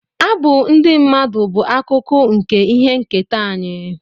Abụ ndị mmadụ bụ akụkụ nke ihe nketa anyị